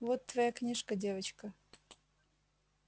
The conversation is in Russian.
вот твоя книжка девочка